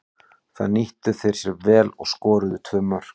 Það nýttu þeir sér vel og skoruðu tvö mörk.